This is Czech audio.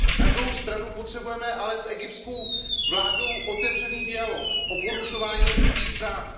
Na druhou stranu potřebujeme ale s egyptskou vládou otevřený dialog o porušování lidských práv.